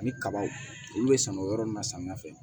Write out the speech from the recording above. Ani kaba olu bɛ sɛnɛ o yɔrɔ nun na samiya fɛ